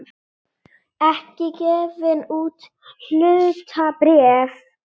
ekki gefin út hlutabréf.